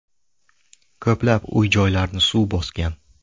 Ko‘plab uy-joylarni suv bosgan.